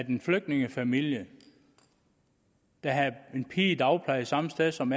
en flygtningefamilie der havde en pige i dagpleje samme sted som